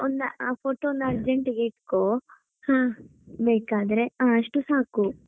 ಒಂದಾ ಆ photo ಒಂದು urgent ಗೆ ಹಿಡ್ಕೋ ಬೇಕಾದರೆ ಹಾ ಅಷ್ಟು ಸಾಕು.